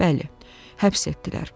Bəli, həbs etdilər.